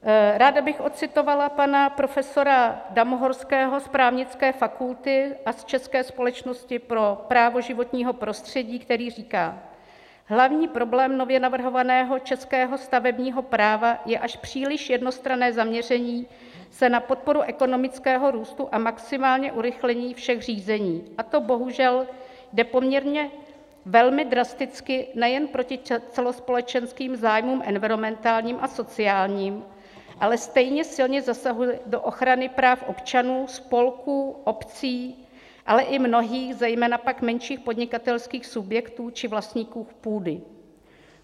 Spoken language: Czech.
Ráda bych odcitovala pana profesora Damohorského z právnické fakulty a z České společnosti pro právo životního prostředí, který říká: "Hlavní problém nově navrhovaného českého stavebního práva je až příliš jednostranné zaměření se na podporu ekonomického růstu a maximální urychlení všech řízení, a to bohužel jde poměrně velmi drasticky nejen proti celospolečenským zájmům environmentálním a sociálním, ale stejně silně zasahuje do ochrany práv občanů, spolků, obcí, ale i mnohých, zejména pak menších podnikatelských subjektů či vlastníků půdy."